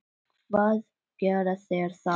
Hvað gera þeir þá?